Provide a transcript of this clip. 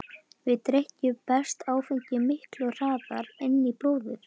Við drykkju berst áfengi miklu hraðar inn í blóðið.